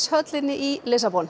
höllinni í Lissabon